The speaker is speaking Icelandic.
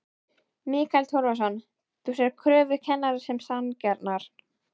Mikael Torfason: Þú sérð kröfur kennara sem sanngjarnar?